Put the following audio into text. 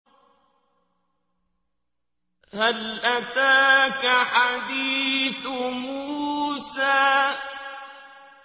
هَلْ أَتَاكَ حَدِيثُ مُوسَىٰ